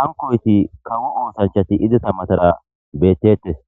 hankoyti kawo oosanchati izeta matara beettetes